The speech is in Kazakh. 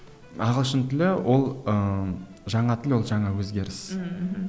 ағылшын тілі ол ыыы жаңа тіл ол жаңа өзгеріс ммм мхм